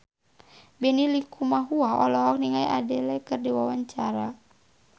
Benny Likumahua olohok ningali Adele keur diwawancara